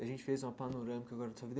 A gente fez uma panorâmica agora da sua vida.